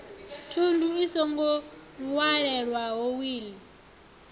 thundu i songo walelwaho wiḽi